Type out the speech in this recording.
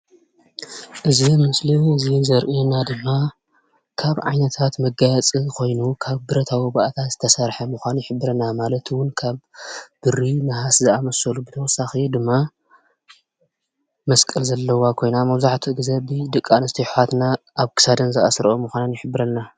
እዚ ምስሊ እዚ ዘርኤና ድማ ካብ ዓይነታት መጋየፂ ኮይኑ ካብ ብረታዊ ባእታ ዝተሰረሐ ምኮኑ ይሕብረና። ማለት ውን ካብ ብሪ፣ ናህስ ዝኣምሰሉ ብተወሳኪ ድማ መስቀል ዘለዋ ኮይና መብዛሕቱኡ ግዜ ብደቂ ኣንስትዮ ኣሕዋትና ኣብ ክሳደን ዝኣስርኦ ምኳነን ይሕብረና።